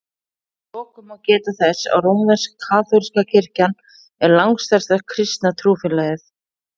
Að lokum má geta þess að rómversk-kaþólska kirkjan er langstærsta kristna trúfélagið.